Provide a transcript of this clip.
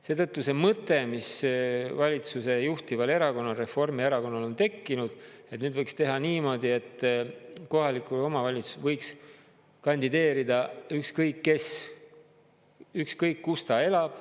Seetõttu see mõte, mis valitsuse juhtival erakonnal Reformierakonnal on tekkinud, et nüüd võiks teha niimoodi, et kohalikele omavalitsustele võiks kandideerida ükskõik kes, ükskõik, kus ta elab.